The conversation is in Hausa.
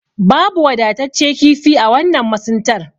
Babu wadatacce kifi a wannan masuntar.